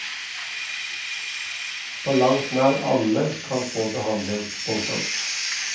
På langt nær alle kan få behandling. punktum